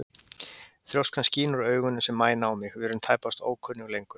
Þrjóskan skín úr augunum sem mæna á mig, við erum tæpast ókunnug lengur.